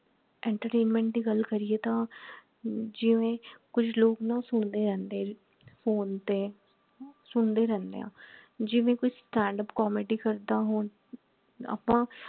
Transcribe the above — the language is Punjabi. entertainment ਦੀ ਗੱਲ ਕਰੀਏ ਤਾਂ ਜਿਵੇਂ ਕੁਛ ਲੋਗ ਨਾ ਸੁਣਦੇ ਰਹਿੰਦੇ ਹੈ phone ਤੇ ਸੁਣਦੇ ਰਹਿੰਦੇ ਹੈ ਜਿਵੇਂ ਕੋਈ standup comedy ਕਰਦਾ ਹੋਣ ਆਪਾ